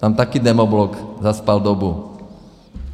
Tam také demoblok zaspal dobu.